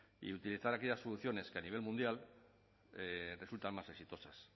y utilizar aquellas funciones que a nivel mundial resultan más exitosas